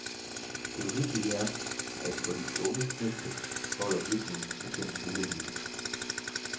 Det uhyggelige er, at for de unge knægte holder virkningen sig gennem hele livet.